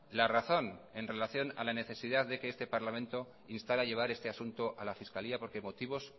la razón en relación a la necesidad de que este parlamento insta a llevar este asunto a la fiscalía porque motivos